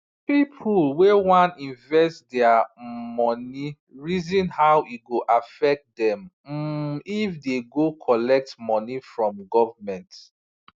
people wey wan invest their um money reason how e go affect them um if they go collect money from government